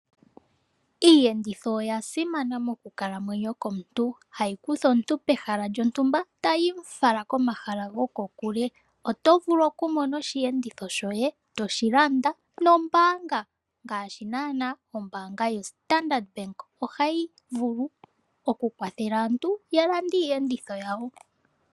Iiyenditho oya simana mokukalamwenyo komuntu, hayi kutha omuntu pehala lyontumba tayi mu fala komahala gokokule. Oto vulu okumona osheenditho shoye toshi landa nombaanga ngaashi naanaa ombaanga yo Standard Bank ohayi vulu okukwathela aantu ya lande iiyenditho yawo.